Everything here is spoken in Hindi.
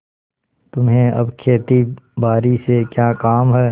तुम्हें अब खेतीबारी से क्या काम है